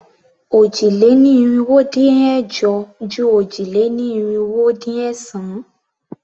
Òjì-lé-ní-irinwó-dín-ẹ̀jọ ju òjì-lé-ní-irinwó-dín-ẹ̀sán.